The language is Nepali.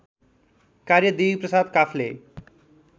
कार्य देवीप्रसाद काफ्ले